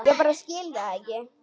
Ég bara skil það ekki.